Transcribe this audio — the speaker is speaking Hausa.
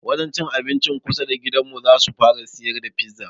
Wajen cin abincin kusa da gidanmu zasu fara siyar da fiza